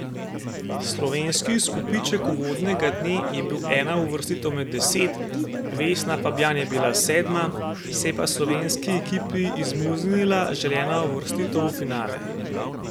Slovenski izkupiček uvodnega dne je bil ena uvrstitev med deset, Vesna Fabjan je bila sedma, se je pa slovenski ekipi izmuznila želena uvrstitev v finale.